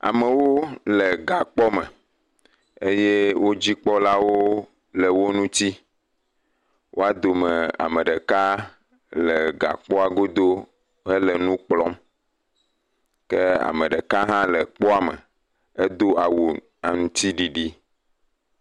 Amewo le gakpɔ me eye wo dzikpɔlawo le wo ŋitsi. Woa dome ame ɖeka le gakpɔa godo hele nu kplɔm kea me ɖeka hã le kpoa me edo awu aŋtsiɖiɖi.